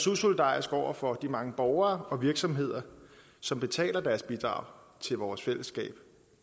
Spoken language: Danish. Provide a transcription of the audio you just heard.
usolidarisk over for de mange borgere og virksomheder som betaler deres bidrag til vores fællesskab